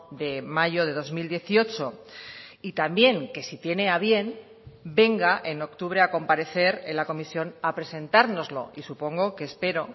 de mayo de dos mil dieciocho y también que si tiene a bien venga en octubre a comparecer en la comisión a presentárnoslo y supongo que espero